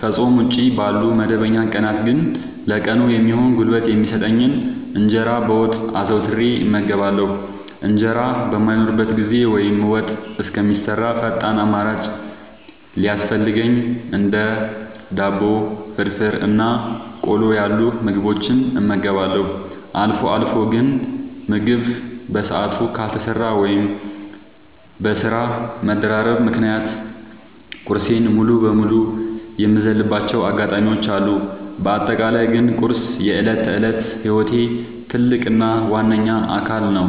ከፆም ውጪ ባሉ መደበኛ ቀናት ግን ለቀኑ የሚሆን ጉልበት የሚሰጠኝን እንጀራ በወጥ አዘውትሬ እመገባለሁ። እንጀራ በማይኖርበት ጊዜ ወይም ወጥ እስከሚሰራ ፈጣን አማራጭ ሲያስፈልገኝ እንደ ዳቦ፣ ፍርፍር እና ቆሎ ያሉ ምግቦችን እመገባለሁ። አልፎ አልፎ ግን ምግብ በሰዓቱ ካልተሰራ ወይም በስራ መደራረብ ምክንያት ቁርሴን ሙሉ በሙሉ የምዘልባቸው አጋጣሚዎች አሉ። በአጠቃላይ ግን ቁርስ የዕለት ተዕለት ህይወቴ ትልቅ እና ዋነኛ አካል ነው።